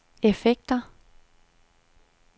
effekter